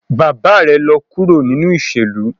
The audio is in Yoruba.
Baba rẹ lọ kuro ninu iṣelu